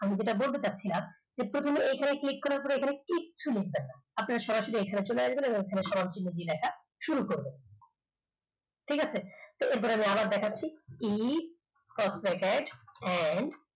আমি যেটা বলতে চাচ্ছি এইখানে click করার পরে এইখানে কিছু লিখবেন না আপনি সরাসরি এখানে চলে আসবেন দিয়ে লেখা শুরু করবেন ঠিক আছে এরপরে আমি আবার দেখাচ্ছি e and